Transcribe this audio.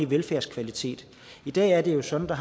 velfærdskvalitet i dag er det jo sådan at